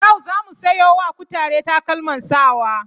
Yau za mu sayo wa kutare takalman sawa.